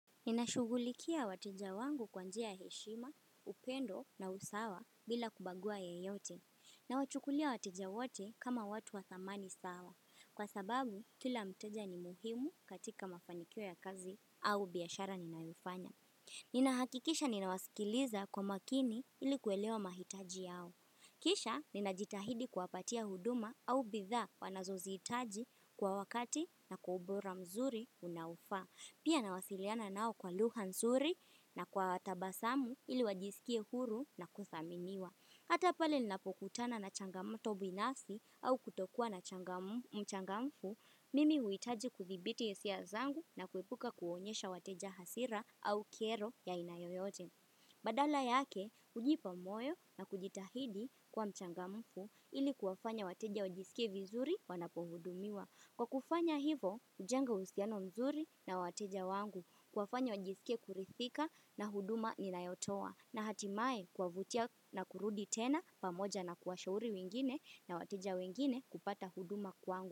Ninashugulikia wateja wangu kwa njia ya heshima, upendo na usawa bila kubagua yeyote. Nawachukulia wateja wote kama watu wa thamani sawa. Kwa sababu, kila mteja ni muhimu katika mafanikio ya kazi au biyashara ninayoifanya. Ninahakikisha ninawaskiliza kwa makini ili kuelewa mahitaji yao. Kisha, ninajitahidi kuwapatia huduma au bidha wanazozihitaji kwa wakati na kwa ubora mzuri unaofa. Pia nawasiliana nao kwa lugha nzuri na kwa tabasamu ili wajisikie huru na kuthaminiwa. Hata pale ninapokutana na changamoto binafsi au kutokua na changa mchangamfu, mimi huhitaji kuthibiti hisia zangu na kuepuka kuonyesha wateja hasira au kero ya aina yoyote. Badala yake, hujipa moyo na kujitahidi kwa mchangamfu ili kuwafanya wateja wajisikie vizuri wanapohudumiwa. Kwa kufanya hivo, hujenga uhusiano mzuri na wateja wangu kuwafanya wajisike kurithika na huduma ni nayotoa na hatimaye kuwavutia na kurudi tena pamoja na kuwashauri wengine na wateja wengine kupata huduma kwangu.